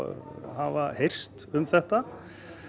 hafa heyrst um þetta